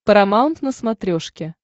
парамаунт на смотрешке